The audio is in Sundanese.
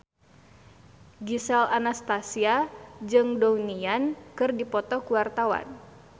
Gisel Anastasia jeung Donnie Yan keur dipoto ku wartawan